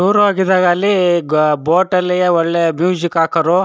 Tour ಹೋಗಿದಾಗ ಅಲ್ಲಿ ಗ ಬೋಟ್ ಅಲ್ಲಿ ಒಳ್ಳೆ ಮುಜಿಕ್ ಹಾಕೋರು.